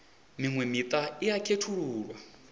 miṅwe miṱa i a khethululwa